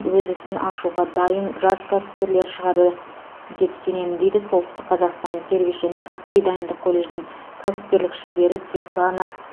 өз ісін ашуға дайын жас кәсіпкерлер шығады деп сенемін дейді солтүстік қазақстан сервис және кәсіби дайындық колледжінің кәсіпкерлік шебері светлана